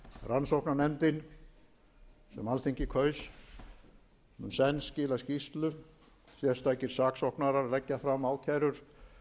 rannsóknarnefndin sem alþingi kaus mun senn skila skýrslu sérstakir saksóknarar leggja fram ákærur